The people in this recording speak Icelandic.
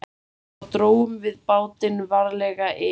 Svo drógum við bátinn varlega yfir